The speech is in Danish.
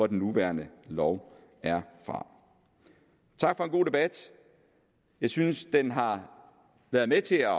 den nuværende lov er fra tak for en god debat jeg synes den har været med til at